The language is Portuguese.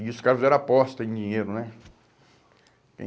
E os caras fizeram aposta em dinheiro, né?